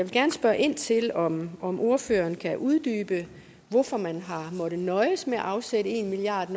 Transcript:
gerne spørge ind til om om ordføreren kan uddybe hvorfor man har måttet nøjes med at afsætte en milliard